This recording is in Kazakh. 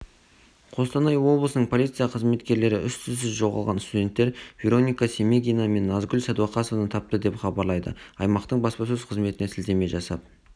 қостанай облысының полиция қызметкерлері із-түссіз жоғалған студенттер вероника семегина мен назгүл сәдуақасованы тапты деп хабарлайды аймақтың баспасөз-қызметіне сілтеме жасап